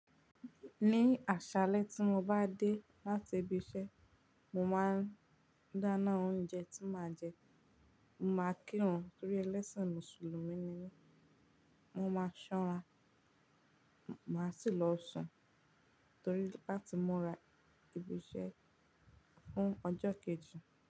Ní àṣálẹ́ tí mo bá dé láti ibi iṣẹ́, mo máa dáná oúnjẹ tí màá jẹ, mo máa kírun torí ẹlẹ́sìn Mùsùlùmí ni mí, mo máa ṣọ́ra, màá sì lọ sùn torí láti múra ibi iṣẹ́ fún ọjọ́ kejì.